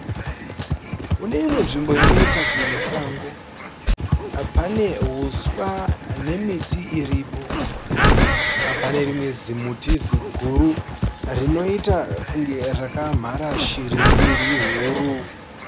Kuneimwe nzvimbo inoita kunge sango. Pane huswa nemiti iripo. Pane rimwe zimuti ziguru , rinoita kunge rakamhara shiri mbiri huru.